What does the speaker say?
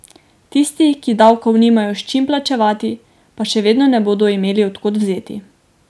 Tisti, ki davkov nimajo s čim plačati, pa še vedno ne bodo imeli od kod vzeti.